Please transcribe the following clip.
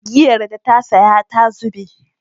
Giyar da ta saya ta zube